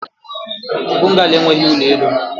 Bungalo enweghị ụlọ elu.